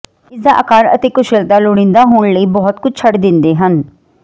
ਇਸ ਦਾ ਆਕਾਰ ਅਤੇ ਕੁਸ਼ਲਤਾ ਲੋੜੀਦਾ ਹੋਣ ਲਈ ਬਹੁਤ ਕੁਝ ਛੱਡ ਦਿੰਦੇ ਹਨ